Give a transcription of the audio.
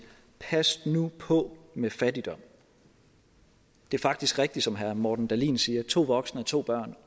pas nu på med fattigdom det er faktisk rigtigt som herre morten dahlin siger at to voksne og to børn